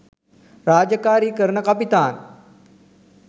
රාජකාරී කරන කපිතාන්